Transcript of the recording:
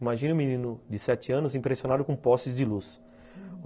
Imagine um menino de sete anos impressionado com postes de luz.